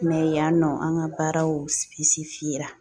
yan nɔ an ka baaraw